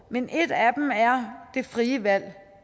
men et af dem er det frie valg